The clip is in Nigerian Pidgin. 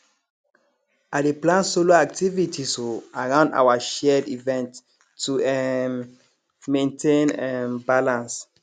i dey plan solo activities um around our shared events to um maintain um balance